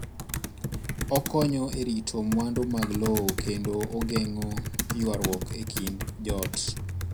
Okonyo e rito mwandu mag lowo, kendo ogeng'o ywaruok e kind joot